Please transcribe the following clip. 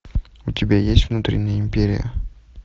у тебя есть внутренняя империя